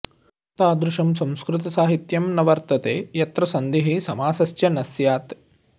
तादृशं संस्कृतसाहित्यं न वर्तते यत्र सन्धिः समासश्च न स्यात्